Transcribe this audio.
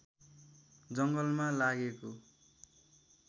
जङ्गलमा लागेको